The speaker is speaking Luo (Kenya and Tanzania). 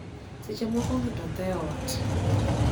wakati mwingine mtu hufa nyumbani